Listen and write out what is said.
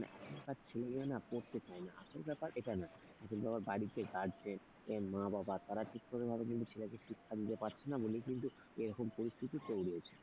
এখন ছেলেগুলো না পড়তে চায় না আসল এটা না আসল ব্যাপার বাড়িতে গার্জেন মা বাবা তারা ঠিকমত ছেলেকে শিক্ষা দিতে পারছে না বলেই কিন্তু এরকম পরিস্থিতি তৈরি হয়েছে।